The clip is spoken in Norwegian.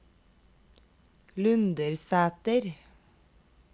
Lundersæter